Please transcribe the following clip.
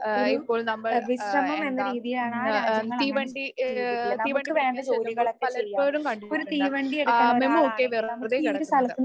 ആഹ് ഇപ്പോൾ നമ്മൾ ആഹ് എന്താ ആഹ് തീവണ്ടി ആഹ് തീവണ്ടി പിടിക്കാൻ ചെല്ലുമ്പോൾ പലപ്പോഴും കണ്ടിട്ടുണ്ട് മെമു ഒക്കെ വെറുതെ കിടക്കുന്നത്.